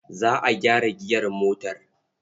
Za a gyara giyar motar.